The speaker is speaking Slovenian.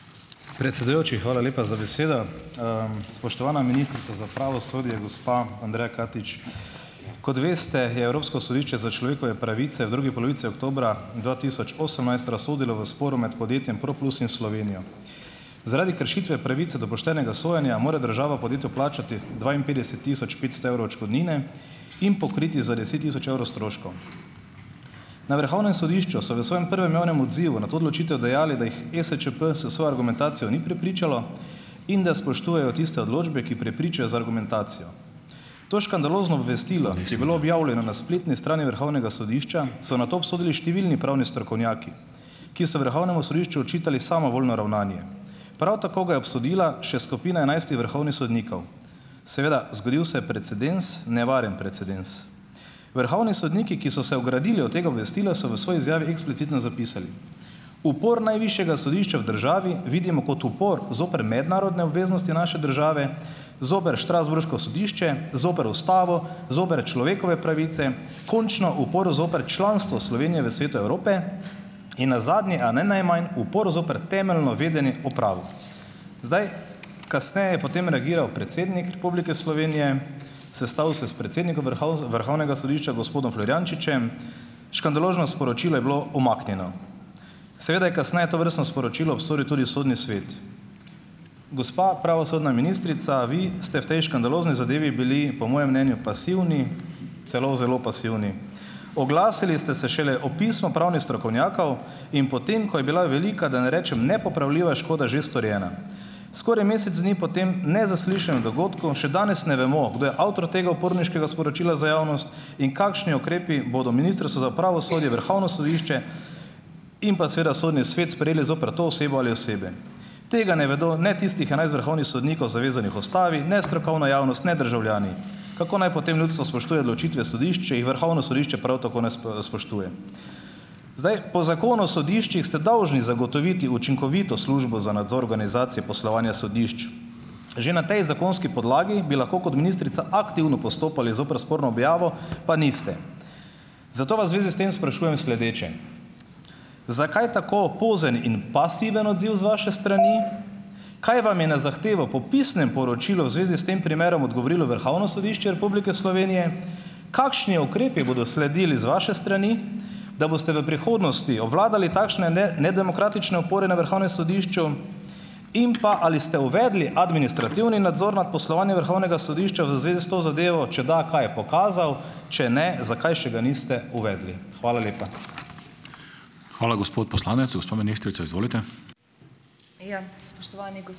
Predsedujoči, hvala lepa za besedo. Spoštovana ministrica za pravosodje, gospa Andreja Katič. Kot veste, je Evropsko sodišče za človekove pravice v drugi polovici oktobra dva tisoč osemnajst razsodilo v sporu med podjetjem Proplus in Slovenijo. Zaradi kršitve pravice do poštenega sojenja, mora država podjetju plačati dvainpetdeset tisoč petsto evrov odškodnine in pokriti za deset tisoč evrov stroškov. Na Vrhovnem sodišču so v svojem prvem javnem odzivu na to odločitev dejali, da jih ESČP s svojo argumentacijo ni prepričalo in da spoštujejo tiste odločbe, ki prepričajo z argumentacijo. To škandalozno obvestilo je bilo objavljeno na spletni strani Vrhovnega sodišča, so nato obsodili številni pravni strokovnjaki, ki so Vrhovnemu sodišču očitali samovoljno ravnanje. Prav tako ga je obsodila še skupina enajstih vrhovnih sodnikov. Seveda, zgodil se je precedens, nevaren precedens. Vrhovni sodniki, ki so se ogradili od tega obvestila, so v svoji izjavi eksplicitno zapisali: "Upor najvišjega sodišča v državi vidimo kot upor zoper mednarodne obveznosti naše države, zoper strasbourško sodišče, zoper Ustavo, zoper človekove pravice, končno upor zoper članstva Slovenije v Svetu Evrope in nazadnje, a ne najmanj, upor zoper temeljno vedenje v pravu". Zdaj, kasneje je potem reagiral predsednik Republike Slovenije, sestal se s predsednikom Vrhovnega sodišča, gospodom Florjančičem. Škandalozno sporočilo je bilo umaknjeno. Seveda je kasneje tovrstno sporočilo obsodili tudi Sodni svet. Gospa pravosodna ministrica, vi ste v tej škandalozni zadevi bili, po mojem mnenju, pasivni, celo zelo pasivni. Oglasili ste se šele ob pisma pravnih strokovnjakov in potem, ko je bila velika, da ne rečem, nepopravljiva škoda že storjena. Skoraj mesec dni po tem nezaslišanem dogodku še danes ne vemo, kdo je avtor tega uporniškega sporočila za javnost in kakšni ukrepi bodo Ministrstvo za pravosodje, Vrhovno sodišče in pa seveda Sodni svet sprejeli zoper to osebo ali osebe. Tega ne vedo ne tistih enajst vrhovnih sodnikov, zavezanih Ustavi, ne strokovna javnost, ne državljani. Kako naj potem ljudstvo spoštuje odločitve sodišč, če jih Vrhovno sodišče prav tako ne spoštuje? Zdaj, po zakonu sodiščih ste dolžni zagotoviti učinkovito službo za nadzor organizacije poslovanja sodišč. Že na tej zakonski podlagi bi lahko, kot ministrica, aktivno postopali zoper sporno objavo, pa niste. Zato vas v zvezi s tem sprašujem sledeče: Zakaj tako pozen in pasiven odziv z vaše strani? Kaj vam je na zahtevo po pisnem poročilu v zvezi s tem primerom odgovorilo Vrhovno sodišče Republike Slovenije? Kakšni ukrepi bodo sledili z vaše strani, da boste v prihodnosti obvladali takšne nedemokratične upore na Vrhovnem sodišču? In pa, ali ste uvedli administrativni nadzor nad poslovanjem Vrhovnega sodišča v zvezi s to zadevo, če da, kaj je pokazal? Če ne, zakaj še ga niste uvedli? Hvala lepa.